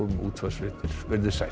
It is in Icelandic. útvarpsfréttir verið þið sæl